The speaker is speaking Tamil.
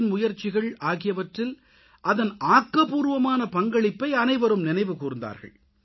வின் முயற்சிகள் ஆகியவற்றில் அதன் ஆக்கப்பூர்வமான பங்களிப்பை அனைவரும் நினைவு கூர்ந்தார்கள்